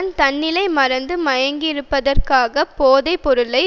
ஒருவன் தன்னிலை மறந்து மயங்கியிருப்பதற்காகப் போதை பொருளை